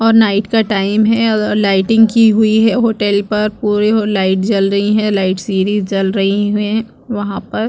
और नाइट का टाइम है और लाइटिंग की हुई है होटल पर पूरी लाइट जल रही है लाइट सीधी जल रही है वहाँ पर --